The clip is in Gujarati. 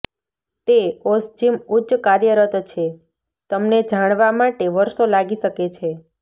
તે ઓસ્જીમ ઉચ્ચ કાર્યરત છે તમને જાણવા માટે વર્ષો લાગી શકે છે